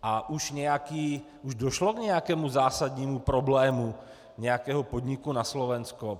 A už došlo k nějakému zásadnímu problému nějakého podniku na Slovensku?